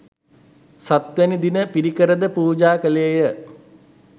සත්වැනි දින පිරිකර ද පූජා කළේ ය.